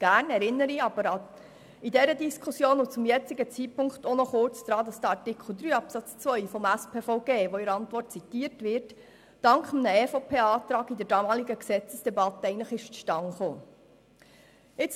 Gerne erinnere ich noch kurz daran, dass Artikel 3 Absatz 2 des Spitalversorgungsgesetzes (SpVG), das in der Antwort zitiert wird, dank einem Antrag der EVP in der damaligen Gesetzesdebatte zustande gekommen ist.